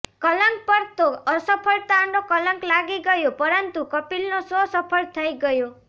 કલંક પર તો અસફળતાનો કલંક લાગી ગયો પરંતુ કપિલનો શો સફળ થઈ ગયો